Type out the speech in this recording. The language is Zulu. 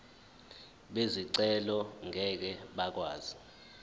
bezicelo ngeke bakwazi